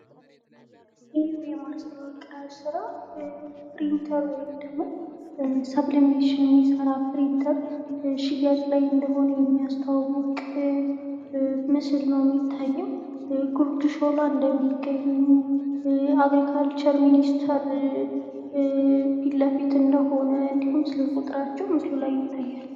ይህ የማስታወቂያ ሥራ ፕሪንተር ወይም ሰብሊሜሽን የሚሰራ ፕሪንተር ሽያጭ ላይ እንደሆኑ የሚያስተዋውቅ ምስል ነው። የሚታየው ጉድ ሾላ እንደሚገኙ፣ አግሪካልቸር ሚንስቴር ፊትለፊት እንደሆነ፤ እንዲሁም ስልክ ቁጥራቸው ምስሉ ላይ ይታያል